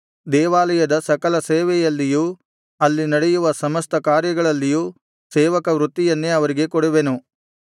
ದೇವಾಲಯದ ಸಕಲ ಸೇವೆಯಲ್ಲಿಯೂ ಅಲ್ಲಿ ನಡೆಯುವ ಸಮಸ್ತ ಕಾರ್ಯಗಳಲ್ಲಿಯೂ ಸೇವಕ ವೃತ್ತಿಯನ್ನೇ ಅವರಿಗೆ ಕೊಡುವೆನು